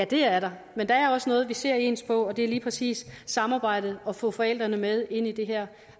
det er der men der er også noget vi ser ens på og det er lige præcis samarbejdet og få forældrene med ind i det her